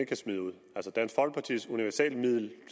kan smide ud altså dansk folkepartis universalmiddel